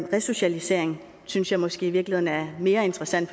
resocialisering synes jeg måske i virkeligheden er mere interessant